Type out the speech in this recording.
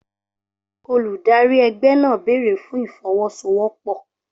Olùdarí ẹgbẹ́ náà béèrè fún ìfọwọ́sowọ́pọ̀